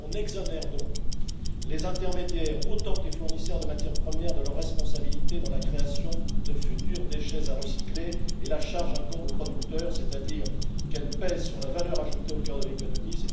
On exonère donc les intermédiaires autant que les fournisseurs de matières premières de leur responsabilité dans la création de futurs déchets à recycler, et la charge incombe aux producteurs, c'est à dire qu'elle pèse sur la valeur ajoutée au cœur de l'économie.